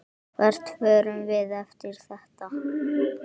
Hvert förum við eftir þetta?